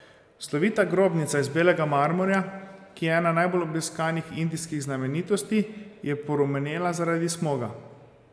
Slovita grobnica iz belega marmorja, ki je ena najbolj obiskanih indijskih znamenitosti, je porumenela zaradi smoga.